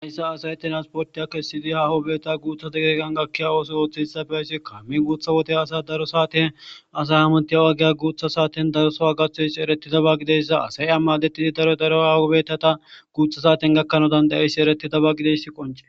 Hayssa asayeti ransportiya kesidi ha hoobeta guutha dageeqan gakkiya ooso ooththehitsa fe ayssi kammin guutha wotey asa daro saaten asay hamontiya agiya guutha saaten darosa a gathoyss ereti daba gideyssa asay ammadettidi daro daro hawobeeta ta guutha saaten gakkano dandayeyssi ereti daba gideyssi qoncee